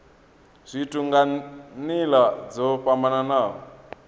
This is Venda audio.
zwithu nga nila dzo fhambanaho